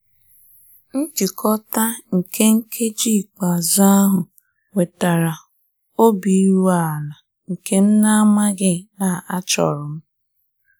Njikọta nke nkeji ikpeazụ ahụ wetara obi wetara obi iru ala nke m na-amaghị na achorum.